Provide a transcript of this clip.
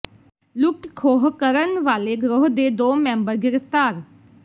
ਲੁੱਟ ਖੋਹ ਕਰਨ ਵਾਲੇ ਗਰੋਹ ਦੇ ਦੋ ਮੈਂਬਰ ਗ੍ਰਿਫ਼ਤਾਰ